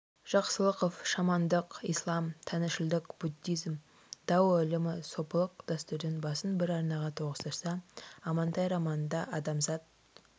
жақсылықов шамандық ислам тәңіршілдік буддизм дао ілімі сопылық дәстүрдің басын бір арнаға тоғыстырса амантай романында адамзат